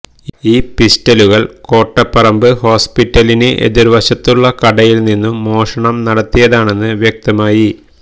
ഈ പിസ്റ്റലുകൾ കോട്ടപ്പറമ്പ് ഹോസ്പിറ്റലിന് എതിർ വശത്തുള്ള കടയിൽ നിന്നും മോഷണം നടത്തിയതാണെന്ന് വ്യക്തമായി